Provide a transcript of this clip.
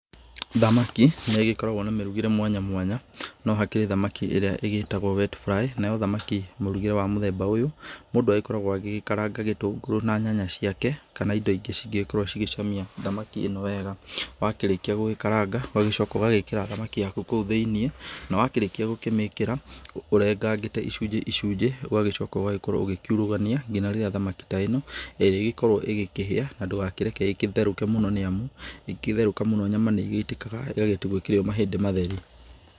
Thamaki nĩ ĩgĩkoragwo na mĩrugĩre mwanya mwanya no hakĩrĩ thamaki ĩrĩa ĩgĩtagwo wet fly, nayo thamaki mũrugĩre wa mũthemba ũyũ. Mũndũ agĩkoragwo agĩkaranga gĩtũngũrũ na nyanya ciake kana indo ingĩ cingĩgĩkorwo icgĩcamia thamaki ĩno wega. Wakĩrĩkia gũgĩkaranga ũgagĩcoka ũgagĩkĩra thamaki yaku kũu thĩinĩ na wakĩrĩkia gũkĩmĩkĩra ũrengangĩte icunjĩ icunjĩ, ũgagĩcoka ũgagĩkorwo ũkĩurugania ngina rĩrĩa thamaki ta ĩno ĩrĩgĩkorwo ĩgĩkĩhĩa. Na ndũgakĩreke ĩgĩtherũke mũno nĩ amu ĩngĩgĩtherũka mũno nyama nĩ ĩgĩitĩkaga ĩgagĩtigwo ĩkĩrĩ o mahĩndĩ matheri.